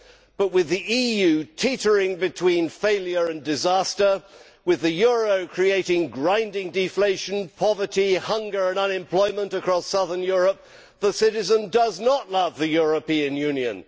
But with the EU teetering between failure and disaster, with the euro creating grinding deflation, poverty, hunger and unemployment across southern Europe, the citizen does not love the European Union.